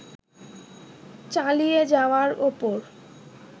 চালিয়ে যাওয়ার ওপর